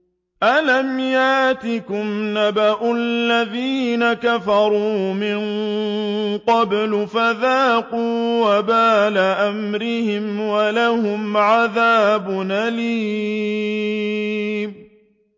أَلَمْ يَأْتِكُمْ نَبَأُ الَّذِينَ كَفَرُوا مِن قَبْلُ فَذَاقُوا وَبَالَ أَمْرِهِمْ وَلَهُمْ عَذَابٌ أَلِيمٌ